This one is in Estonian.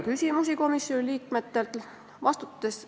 Komisjoni liikmetel oli ka küsimusi.